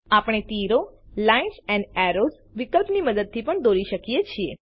આપણે તીરો lines and arrows વિકલ્પની મદદથી પણ દોરી શકીએ છીએ